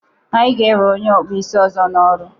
Anyị ga-ewe onye ọkpụ isi ọzọ n'ọrụ.